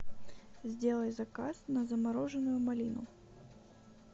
сделай заказ на замороженную малину